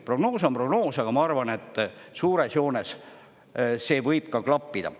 Prognoos on prognoos, aga ma arvan, et suures joones see võib ka klappida.